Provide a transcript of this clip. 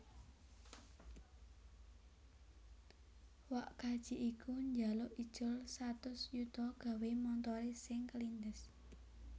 Wak kaji iku njaluk ijol satus yuta gawe montore sing kelindes